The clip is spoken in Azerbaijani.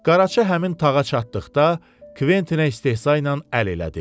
Qaraçı həmin tağa çatdıqda, Kventinə istehza ilə əl elədi.